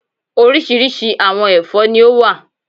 Orísirísi àwọn ẹ̀fọ́ ni ó wà